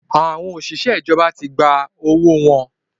Àwọn òṣìṣẹ́ ìjọba tí gba owó wọn